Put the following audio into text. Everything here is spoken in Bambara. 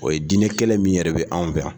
O ye diinɛ kɛlɛ min yɛrɛ bɛ anw fɛ yan.